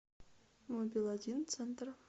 мобилодин центр